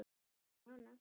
Já, nánast.